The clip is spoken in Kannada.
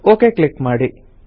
ಓಕೆ ಕ್ಲಿಕ್ ಮಾಡಿ